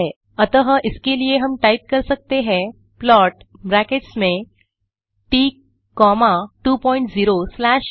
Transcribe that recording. अतः इसके लिए हम टाइप कर सकते हैं प्लॉट ब्रैकेट्स में ट कॉमा 2 पॉइंट 0 स्लैश व